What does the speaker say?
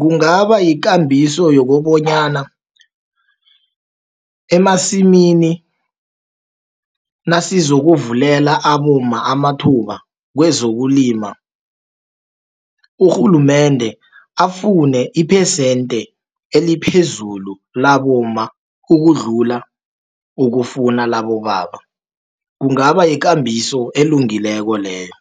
Kungaba yikambiso yokobanyana, emasimini nasizokuvulela abomma amathuba kwezokulima, urhulumende afune iphesente eliphezulu labomma, ukudlula ukufuna labobaba. Kungaba yekambiso elungileko leyo,